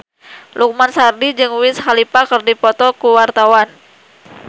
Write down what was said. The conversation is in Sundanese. Lukman Sardi jeung Wiz Khalifa keur dipoto ku wartawan